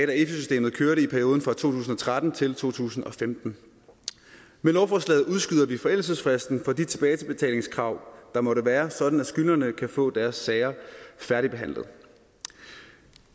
da efi systemet kørte i perioden fra to tusind og tretten til to tusind og femten med lovforslaget udskyder vi forældelsesfristen for de tilbagebetalingskrav der måtte være sådan at skyldnerne kan få deres sager færdigbehandlet